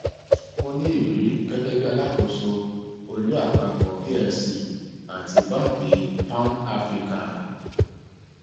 ó ní irírí gẹgẹ bí alákóso olú àpapọ plc àti banki pan áfíríkà